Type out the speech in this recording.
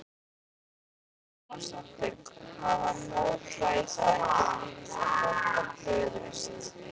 Lára Ómarsdóttir: Hafa mótvægisaðgerðir ríkisstjórnarinnar brugðist?